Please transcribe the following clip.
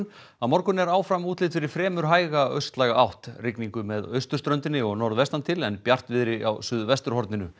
á morgun er áfram útlit fyrir fremur hæga átt rigningu með austurströndinni og norðvestan til en bjartviðri á suðvesturhorninu